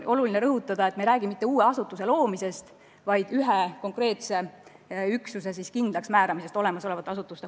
Tähtis on rõhutada, et me ei räägi mitte uue asutuse loomisest, vaid ühe konkreetse üksuse kindlaksmääramisest mõnes olemasolevas asutuses.